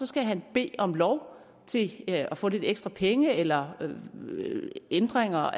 skal han bede om lov til at få lidt ekstra penge eller ændringer